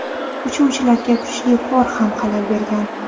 Uchuvchilarga kuchli qor ham xalal bergan.